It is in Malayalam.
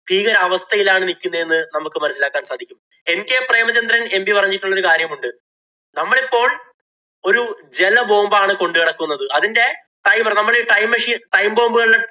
ഭീകരാവസ്ഥയിലാണ് നില്‍ക്കുന്നതെന്ന് നമ്മക്ക് മനസിലാക്കാന്‍ സാധിക്കും. NK പ്രേമചന്ദ്രന്‍ MP പറഞ്ഞിട്ടുള്ള ഒരു കാര്യം ഉണ്ട്. നമ്മളിപ്പോള്‍ ഒരു ജല bomb ആണ് കൊണ്ട് നടക്കുന്നത്. അതിന്‍റെ timer നമ്മടെ ഈ time machinetime bomb കളി~